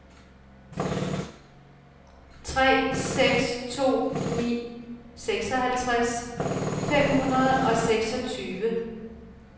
tre seks to ni seksoghalvtreds fem hundrede og seksogtyve